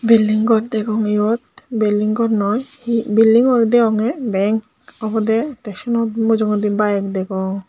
bilding gor degong eyot bilding gor noi he bildingo degongey bank obodey tey seyanot mujongondi bike degong.